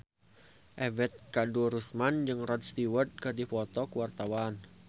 Ebet Kadarusman jeung Rod Stewart keur dipoto ku wartawan